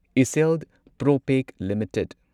ꯢꯁꯁꯤꯜ ꯄ꯭ꯔꯣꯄꯦꯛ ꯂꯤꯃꯤꯇꯦꯗ